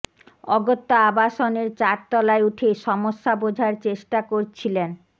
অগত্যা আবাসনের চার তলায় উঠে সমস্যা বোঝার চেষ্টা করছিলেন